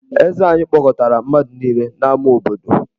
Eze anyị kpọkọtara mmadụ niile n’ámá obodo.